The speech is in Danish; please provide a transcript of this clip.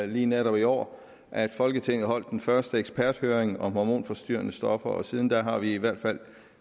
lige netop i år at folketinget holdt den første eksperthøring om hormonforstyrrende stoffer og siden da har vi i hvert fald